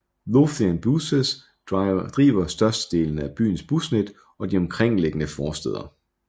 Lothian Buses driver størstedelen af byens busnet og de omkringliggende forstæder